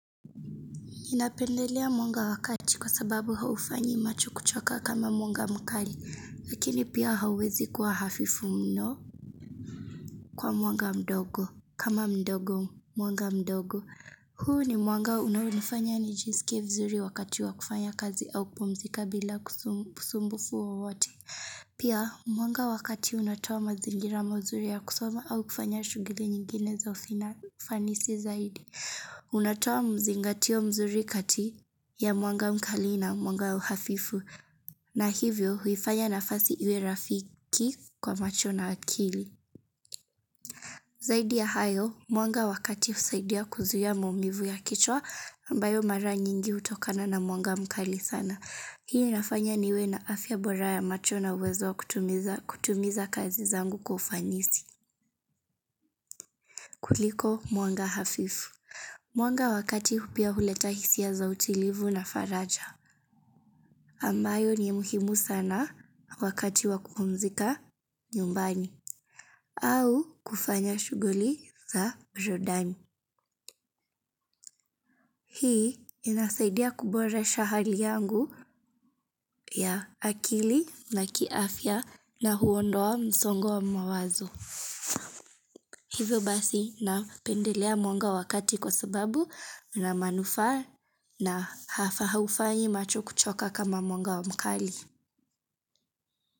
Ninapendelea mwanga wakati kwa sababu haufanyi macho kuchoka kama mwanga mkali, lakini pia hauwezi kuwa hafifu mno kwa mwanga mdogo kama mdogo mwanga mdogo. Huu ni mwanga unaonifanya ni jisike vizuri wakati wa kufanya kazi au kupumzika bila usumbufu wowote. Pia mwanga wakati unatoa mazingira mazuri ya kusoma au kufanya shughuli nyingine za ufanisi zaidi. Unatoa mzingatio mzuri kati ya mwanga mkali na mwanga ya uhafifu. Na hivyo huifanya nafasi iwe rafiki kwa macho na akili. Zaidi ya hayo, mwanga wakati husaidia kuzuia maumivu ya kichwa ambayo mara nyingi hutokana na mwanga mkali sana. Hii inafanya niwe na afya bora ya macho na uwezo wa kutimiza kazi zangu kufanisi. Kuliko mwanga hafifu. Mwanga wakati pia huleta hisia za utulivu na faraja. Ambayo ni muhimu sana wakati wakumzika nyumbani au kufanya shughuli za jordani. Hii inasaidia kuboresha hali yangu ya akili na kiafia na huondoa msongo wa mawazo. Hivyo basi napendelea mwanga wakati kwa sababu na manufaa na haufanyi macho kuchoka kama mwanga wa mkali.